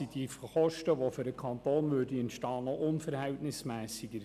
Durch die Kosten, die für den Kanton entstehen würden, wäre es noch unverhältnismässiger.